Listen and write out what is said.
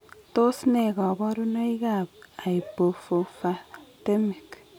Tos nee kabarunaik ab Hypophosphatemic